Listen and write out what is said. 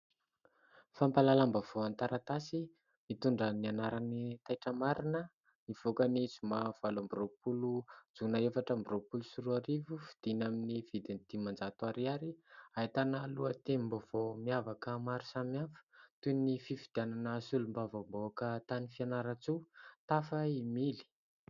Fampahalalam-baovao an-taratasy mitondra ny anarany Taitra Marina, nivoaka ny zoma valo amby roapolo jona, efatra amby roapolo sy roa arivo, vidina amin'ny vidiny dimanjato ariary. Ahitana lohatenim-baovao miavaka maro samihafa toy ny fifidianana solombavam-bahoaka tany Fianarantsoa : tafa i Mily !